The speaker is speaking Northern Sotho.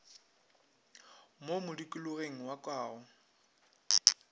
mo modikologeng wa ka go